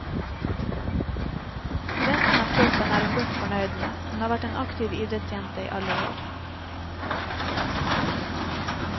Resten av kroppen er hun godt fornøyd med, hun har vært en aktiv idrettsjente i alle år.